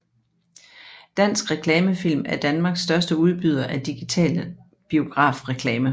Dansk Reklame Film er Danmarks største udbyder af digital biografreklame